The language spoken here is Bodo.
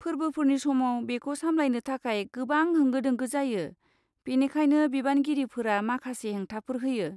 फोर्बोफोरनि समाव, बेखौ सामलायनो थाखाय गोबां होंगो दोंगो जायो, बेनिखायनो बिबानगिरिफोरा माखासे हेंथाफोर होयो।